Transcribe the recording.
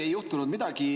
Ei juhtunud midagi.